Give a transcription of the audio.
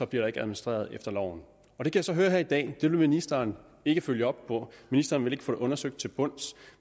der ikke administreret efter loven jeg kan så høre her i dag at det vil ministeren ikke følge op på ministeren vil ikke få det undersøgt til bunds